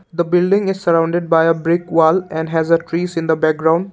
the building is surrounded by a brick wall and has a trees in the background.